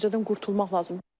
O düşüncədən qurtulmaq lazımdır.